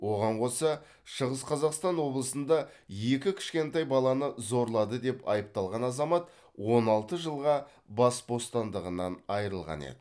оған қоса шығыс қазақстан облысында екі кішкентай баланы зорлады деп айыпталған азамат он алты жылға бас бостандығынан айырылған еді